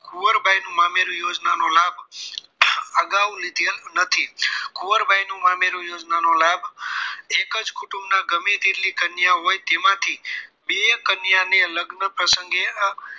કુંવરબાઈ નું મામેરુ યોજના નો લાભ અગાઉ લીધેલ નથી. કુંવરબાઈ નું મામારું યોજના નો લાભ એક જ કુટુંબ ના ગમે તેટલી કન્યાઓ હોય તેમાંથી બે કન્યા ને લગ્ન પ્રસંગે